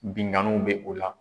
Binganniw bɛ o la.